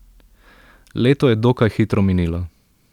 Leto je dokaj hitro minilo.